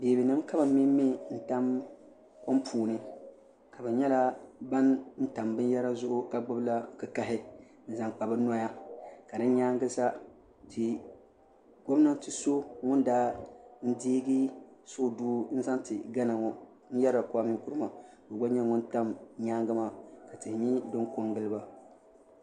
Beebinima ka bɛ mɛmmɛ n tam kom puuni ka bɛ nyala ban tam binyera zuɣu ka gbibi la kikahi n zaŋ kpa bɛ noya ka di nyaagisa gomnanti so ŋun daa n deegi suhudoo n zaŋ ti gana ŋɔ n yerila kuami Nkuruma ka o gba nyɛ ŋun tam nyaaga maa ka tihi nyɛ din ko n gili ba.